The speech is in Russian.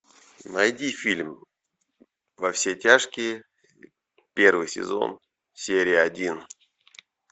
найди фильм во все тяжкие первый сезон серия один